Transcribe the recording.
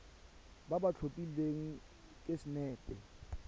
ba ba tlhophilweng ke sacnasp